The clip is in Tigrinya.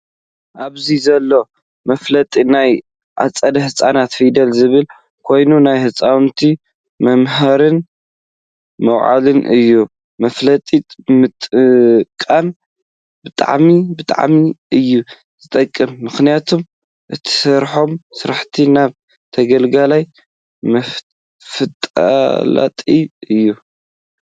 ኣብዚ ዘሎ መፋለጢ ናይ ኣፀደ ህፃናት ፊደል ዝብል ኮይኑ ናይ ህፃውቲ መምሀሪን መውዓሊን እዩ። መፋለጢ ምጥቃም ብጣዕሚ ብጣዕሚ እዩ። ዝጠቅም ምክንያቱ እትሰርሖም ስራሕቲ ናበ ተገልጋላይ መፍላጥ እዩ።